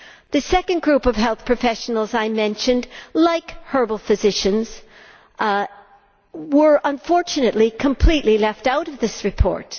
The second group of health professionals I mentioned, like herbal physicians, were unfortunately completely left out of this report.